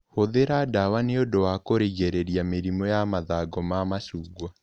Hũthĩra ndawa nĩũndũ wa kũrigĩrĩria mĩrimũ ya mathangũ ma macungwa.